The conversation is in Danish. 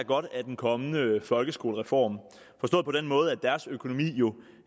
godt af den kommende folkeskolereform forstået på den måde at deres økonomi jo